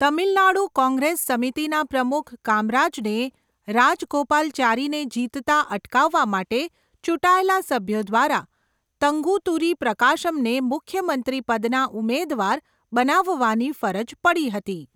તમિલનાડુ કોંગ્રેસ સમિતિના પ્રમુખ કામરાજને રાજગોપાલાચારીને જીતતા અટકાવવા માટે ચૂંટાયેલા સભ્યો દ્વારા તંગુતુરી પ્રકાશમને મુખ્યમંત્રી પદના ઉમેદવાર બનાવવાની ફરજ પડી હતી.